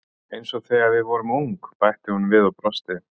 Eins og þegar við vorum ung bætti hún við og brosti.